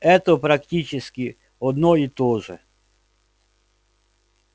это практически одно и то же